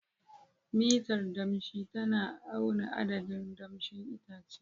Mitar danshi tana auna adadin damshin itace.